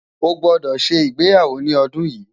ọ gbódò ṣé ìgbéyàwó ní ọdún yi